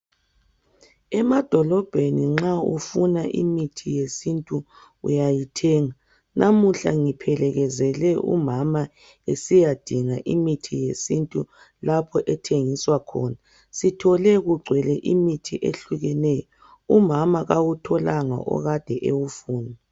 Emadolobheni nxa ufuna imithi yesintu uyayithenga namuhla ngiphelekezele umama esiyadinga imithi yesintu lapho ethengiswa khona sithole kugwele imithi ehlukeneyo umama kawutholanga okade ewufuna.